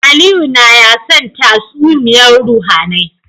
Aliyu naya son tatsumiyar ruhAnai